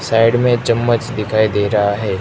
Side में चम्मच दिखाई दे रहा है।